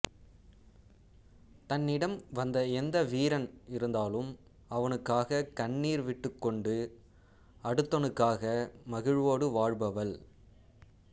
தன்னிடம் வந்த எந்த வீரன் இறந்தாலும் அவனுக்காகக் கண்ணீர் விட்டுக்கொண்டு அடுத்தனுக்காக மகிழ்வோடு வாழ்பவள்